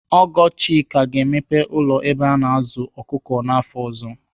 Ọgọ Chika ga-emepe ụlọ ebe a na-azụ ọkụkọ afọ ọzọ.